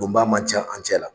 don baa man ca an cɛ la.